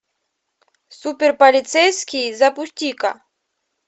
супер полицейский запусти ка